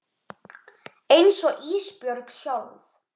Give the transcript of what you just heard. Einsog Ísbjörg sjálf.